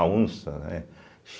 A onça, né?